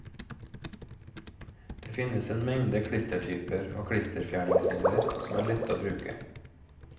Det finnes en mengde klistertyper og klisterfjerningsmidler som er lette å bruke.